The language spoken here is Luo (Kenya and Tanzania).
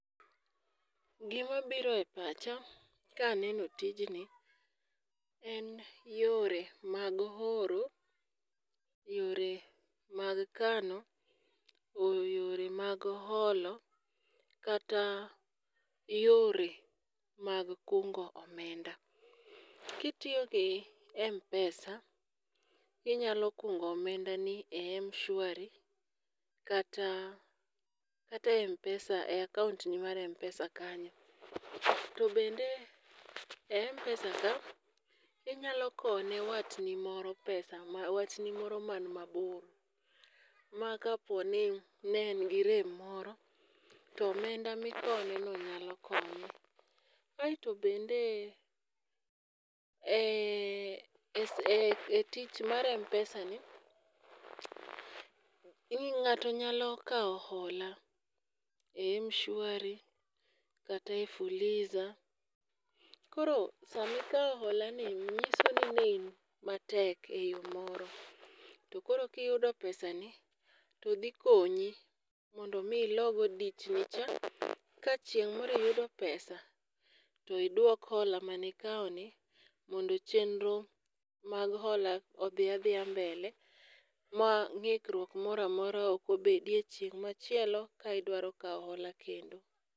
Gima bire pacha kaneno tijni en yore mag oro, yore mag kano oyore mag olo, kata yore mag kungo omenda. Kitiyo gi mpesa , inyalo kungo omenda ni e m-shwari kata kate m-pesa e akaunt ni mar mpesa kanyo. To bende e m-pesa ka , inyalo kowo ne watni moro pesa watni moro man mabor . Ma kaponi ne en gi rem moro to omenda mikowo neno nyalo konye. Aeto bende e e e tich mar mpesa ni ,ng'ato nyalo kawo hola e mshwari kata e fuliza. Koro sami kawo hola ni nyiso ni ne in matek eyoo moro to koro kiyudo pesa ni to dhi konyi mondo mi ilogo dich nicha ka chieng' moro iyudo pesa tidwok hola manikawo ni mondo chenro mag hola odhi adhiya mbele ma ng'ikruok moramora ok obedie odiochieng' machielo ka idwaro kawo hola kendo.